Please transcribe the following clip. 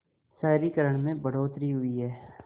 शहरीकरण में बढ़ोतरी हुई है